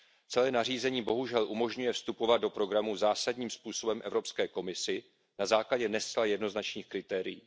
Celé nařízení bohužel umožňuje vstupovat do programu zásadním způsobem Evropské komisi na základě ne zcela jednoznačných kritérií.